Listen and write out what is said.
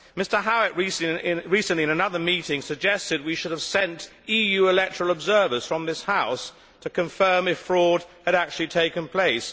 Mr Howitt recently, in another meeting, suggested that we should have sent EU electoral observers from this House to confirm whether fraud had actually taken place.